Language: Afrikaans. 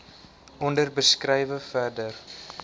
onder beskrywe verder